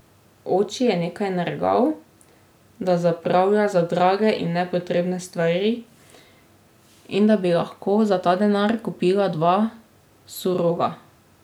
Oči je nekaj nergal, da zapravlja za drage in nepotrebne stvari in da bi lahko za ta denar kupila dva surova.